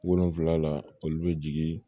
Wolonfila la olu bɛ jigin